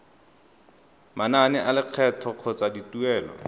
manane a lekgetho kgotsa dituelo